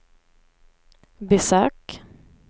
besök